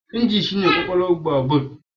Inji shi ne kwakwalwar babur.